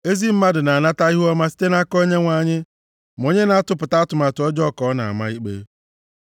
Ezi mmadụ na-anata ihuọma site nʼaka Onyenwe anyị, ma onye na-atụpụta atụmatụ ọjọọ ka ọ na-ama ikpe.